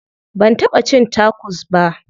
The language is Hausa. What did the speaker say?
Ban taɓa cin tacos ba.